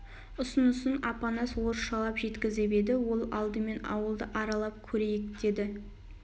ұсынысын апанас орысшалап жеткізіп еді ол алдымен ауылды аралап көрейік деді